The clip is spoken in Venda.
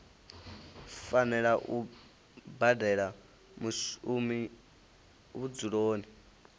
fanela u badela mushumi vhudzuloni